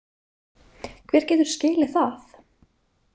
Hver getur skilið það?